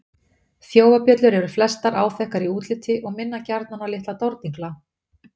Þjófabjöllur eru flestar áþekkar í útliti og minna gjarnan á litla dordingla.